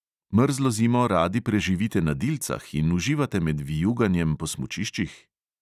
Mrzlo zimo radi preživite na dilcah in uživate med vijuganjem po smučiščih?